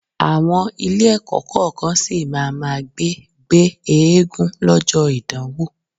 Àwọn Ilé-ẹ̀kọ́ kọ̀ọ̀kan sì má máa gbé gbé eégún lọ́jọ́ ìdánwò